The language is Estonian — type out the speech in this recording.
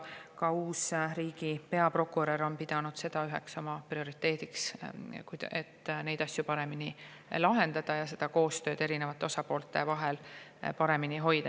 Ka uus riigi peaprokurör on pidanud seda üheks oma prioriteediks, et neid asju paremini lahendada ja koostööd eri osapoolte vahel paremini hoida.